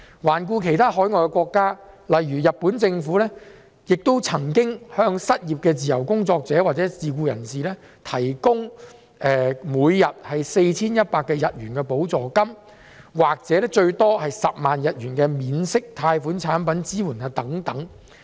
環顧海外其他國家，例如日本，政府也曾向失業的自由工作者或自僱人士提供每天 4,100 日元的補助金，或最多10萬日元的免息貸款產品以作支援。